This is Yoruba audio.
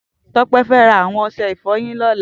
Tope fè rà awọn ọṣẹ ifọyin lọ̀lá